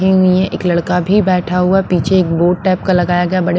हुई है एक लड़का भी बैठा हुआ है पीछे एक बोर्ड टाइप का लगाया गया।